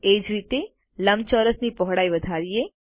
એ જ રીતે લંબચોરસની પહોળાઇ વધારીએ